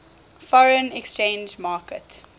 foreign exchange market